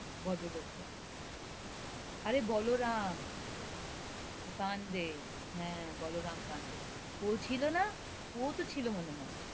ভদ্র লোকটা আরে বলরাম পাণ্ডে, হ্যাঁ, বলরাম পাণ্ডে ও ছিল না? ও তো ছিল মনে হয়,